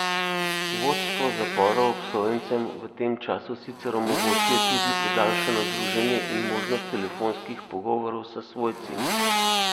Vodstva zaporov obsojencem v tem času sicer omogočijo tudi podaljšano druženje in možnost telefonskih pogovorov s svojci.